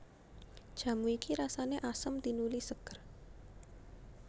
Jamu iki rasané asem tinuli ségér